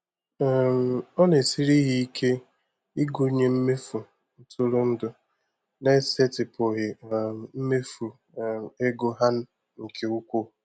um Ọ na-esiri ha ike ịgụnye mmefu ntụrụndụ n'esetịpụghị um mmefu um ego ha nke ukwuu.